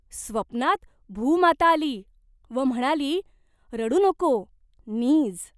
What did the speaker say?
स्वप्नात भूमाता आली व म्हणाली 'रडू नको, नीज.